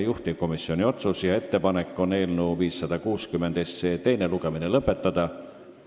Juhtivkomisjoni ettepanek on eelnõu 560 teine lugemine lõpetada.